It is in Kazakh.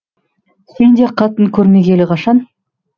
сен де қатын көрмегелі қашан